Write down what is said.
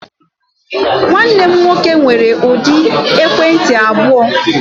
Nwanne m nwoke nwere ụdị ekwentị abụọ.